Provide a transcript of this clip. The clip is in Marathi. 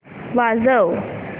वाजव